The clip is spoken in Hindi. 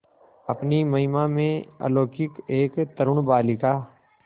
अपनी महिमा में अलौकिक एक तरूण बालिका